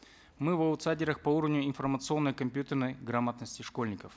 мы в аутсайдерах по уровню информационной компьютерной грамотности школьников